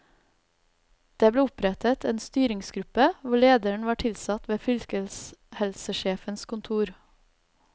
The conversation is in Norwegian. Det ble opprettet en styringsgruppe, hvor lederen var tilsatt ved fylkeshelsesjefens kontor.